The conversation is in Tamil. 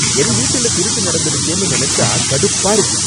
என் வீட்டுல திருட்டு நடந்துடுச்சேனு நெனச்சா கடுப்பா இருக்கு.